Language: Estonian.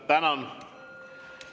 Tänan!